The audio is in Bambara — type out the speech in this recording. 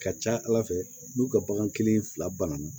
Ka ca ala fɛ n'u ka bagan kelen fila banna